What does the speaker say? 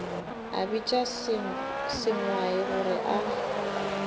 a bitša sengwai gore a